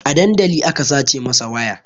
A dandali aka sace mai waya